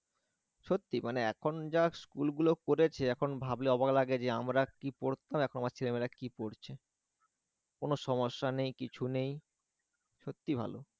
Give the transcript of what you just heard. সত্যিই মানে এখন যা school গুলো করেছে এখন ভাবলে অবাক লাগে যে আমরা কি পড়তাম এখন আমার ছেলে মেয়েরা কি পড়ছে কোন সমস্যা নেই কিছু নেই সত্যি ভালো